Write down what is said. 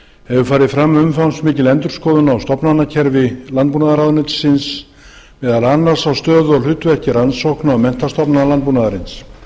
hefur farið fram umfangsmikil endurskoðun á stofnlánakerfi landbúnaðarráðuneytisins meðal annars á hlutverki rannsókna og menntastofnana landbúnaðarins